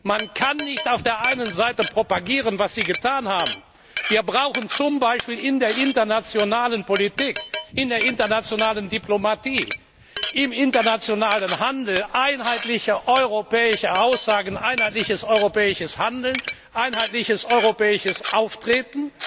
Man kann nicht auf der einen Seite propagieren was Sie getan haben dass wir zum Beispiel in der internationalen Politik, in der internationalen Diplomatie, im internationalen Handel einheitliche europäische Aussagen, einheitliches europäisches Handeln, einheitliches europäisches Auftreten